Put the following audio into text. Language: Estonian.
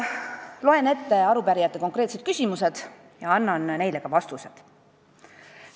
Loen ette arupärijate konkreetsed küsimused ja annan neile ka vastused.